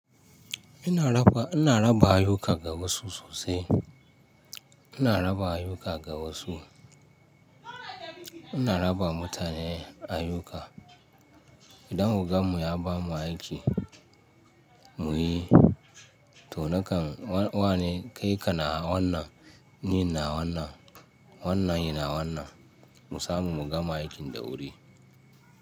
Ina raba, ina raba ayuka ga wasu sosai. Ina raba ayuka ga wasu. Ina raba mutane ayyuka. Idan ogam mu ya bamu aiki muyi, to nakan wane kai ka na wannan, ni na wannan, wannan yana wannan mu samu mugama aikin da wuri.